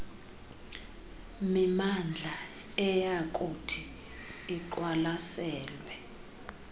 mimandla eyakuthi iqwalaselwe